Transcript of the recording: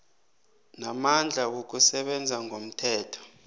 namandla wokusebenza ngomthetho